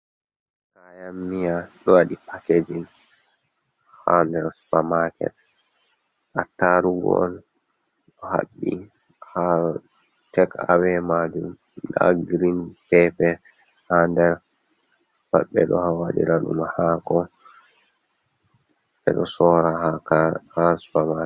Kayan miya dowadi pakejin ha del supamaket, attarugo on ɗo haɓbi har tek awe majum ɗa girin pepe ha der pat ɓeɗo wadirédum hako beɗo sorra ha supamaket.